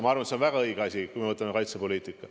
Ma arvan, et see on väga õige asi, kui me vaatame kaitsepoliitikat.